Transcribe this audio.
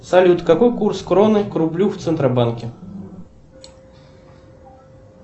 салют какой курс кроны к рублю в центробанке